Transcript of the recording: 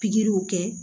Pikiriw kɛ